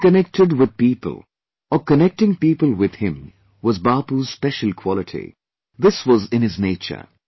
Getting connected with people or connecting people with him was Bapu's special quality, this was in his nature